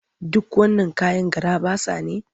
Duk wannan kayan garaɓasa ne?